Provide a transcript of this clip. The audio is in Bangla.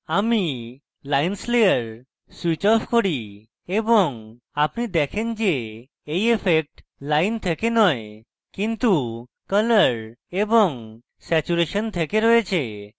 আমি lines layer switch off করি এবং আপনি দেখেন যে এই ইফেক্ট lines থেকে নয় কিন্তু colour এবং স্যাচুরেশন থেকে রয়েছে